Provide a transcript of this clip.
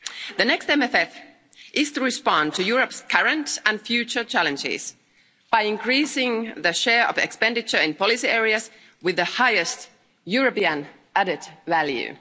The next MFF is to respond to Europe's current and future challenges by increasing the share of expenditure in policy areas with the highest European added value.